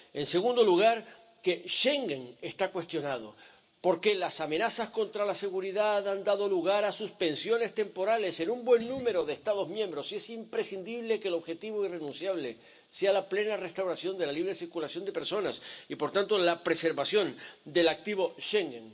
En segundo lugar, que Schengen está cuestionado porque las amenazas contra la seguridad han dado lugar a suspensiones temporales en un buen número de Estados miembros y es imprescindible que el objetivo irrenunciable sea la plena restauración de la libre circulación de personas y, por tanto, la preservación del activo Schengen.